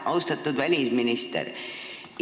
Austatud välisminister!